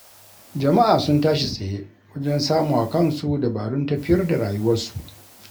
Jama'a sun tashi tsaye wajen samawa kansu dabarun tafiyar da rayuwarsu